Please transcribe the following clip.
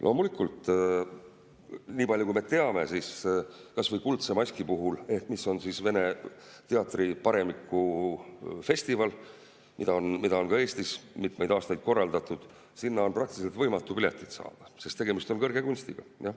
Loomulikult, nii palju kui me teame, siis kas või Kuldse Maski puhul, mis on Vene teatriparemiku festival ja mida on ka Eestis mitmeid aastaid korraldatud, on praktiliselt võimatu piletit saada, sest tegemist on kõrge kunstiga.